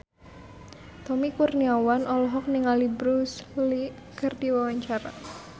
Tommy Kurniawan olohok ningali Bruce Lee keur diwawancara